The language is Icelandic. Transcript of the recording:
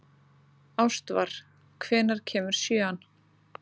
Ástvar, hvenær kemur sjöan?